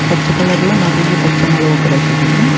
பச்ச கலர்ல நறைய பச்சை மொளவு கடக்குது.